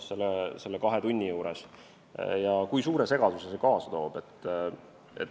See tõi kaasa suure segaduse.